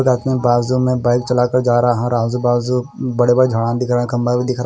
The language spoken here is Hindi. एक आदमी बाजु में बाइक चला कर जा रहा हैं और आजू बाजू बड़े बड़े झड़ा दिख रहे हैं खम्बा भी दिख रा--